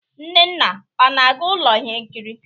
Nnanna ana-aga ụlọ ihe nkiri?